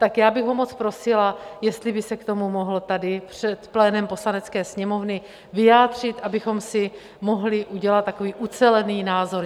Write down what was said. Tak já bych ho moc prosila, jestli by se k tomu mohl tady před plénem Poslanecké sněmovny vyjádřit, abychom si mohli udělat takový ucelený názor.